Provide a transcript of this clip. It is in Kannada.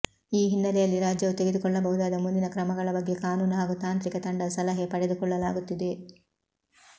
ಈ ಹಿನ್ನೆಲೆಯಲ್ಲಿ ರಾಜ್ಯವು ತೆಗೆದುಕೊಳ್ಳಬಹುದಾದ ಮುಂದಿನ ಕ್ರಮಗಳ ಬಗ್ಗೆ ಕಾನೂನು ಹಾಗೂ ತಾಂತ್ರಿಕ ತಂಡದ ಸಲಹೆ ಪಡೆದುಕೊಳ್ಳಲಾಗುತ್ತಿದೆ